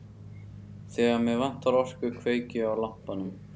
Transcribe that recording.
Þegar mig vantar orku kveiki ég á lampanum.